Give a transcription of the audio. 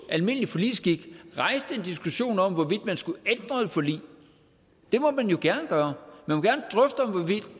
almindelig forligsskik en diskussion om hvorvidt man skulle ændre et forlig det må man jo gerne gøre man